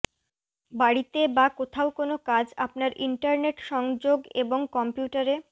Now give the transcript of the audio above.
বাড়িতে বা কোথাও কোনও কাজ আপনার ইন্টারনেট সংযোগ এবং কম্পিউটারে